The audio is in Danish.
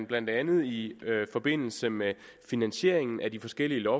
blandt andet i forbindelse med finansieringen af de forskellige